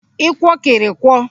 ịkwọkịrịkwọ